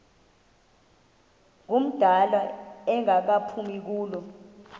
ngumdala engaphumi kulo